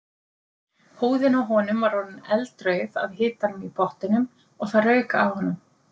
Húðin á honum var orðin eldrauð af hitanum í pottinum og það rauk af honum.